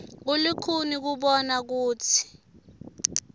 kulikhuni kubona kutsi